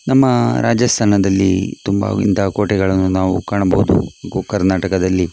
ನಮ್ಮ ರಾಜಸ್ತಾನದಲ್ಲಿ ತುಂಬ ಇಂತಹ ಕೋಟೆಗಳನ್ನು ನಾವು ಕಾಣಬಹುದು ನಮ್ಮ ಕರ್ನಾಟಕದಲ್ಲಿ .